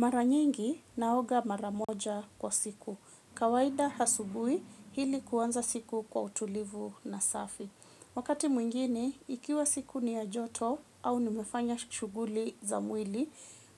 Mara nyingi naoga mara moja kwa siku. Kawaida hasubui hili kuanza siku kwa utulivu na safi. Wakati mwingine, ikiwa siku ni ya joto au nimefanya shughuli za mwili,